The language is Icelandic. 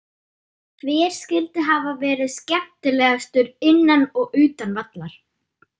Hver skyldi hafa verði skemmtilegastur innan og utan vallar?